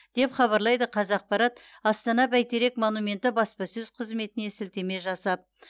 деп хабарлайды қазақпарат астана бәйтерек монументі баспасөз қызметіне сілтеме жасап